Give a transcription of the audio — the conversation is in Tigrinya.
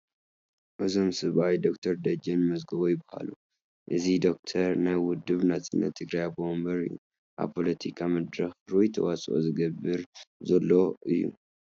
እዞም ሰብኣይ ዶክተር ደጀነ መዝገቦ ይበሃል፡፡ እዚ ዶክተር ናይ ውድብ ናፅነት ትግራይ ኣቦ ወንበር እዩ፡፡ ኣብ ፖለቲካ መድረኽ ርኡይ ተዋስኦ ዝገብር ዘሎ እዩ፡፡